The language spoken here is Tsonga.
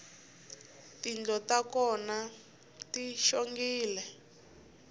tindlo ta kona ti xongile